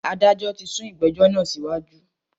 Adájọ tí sún ìgbẹ̀jọ́ náà síwájú.